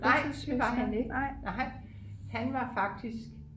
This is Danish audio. nej det var han ikke nej han var faktisk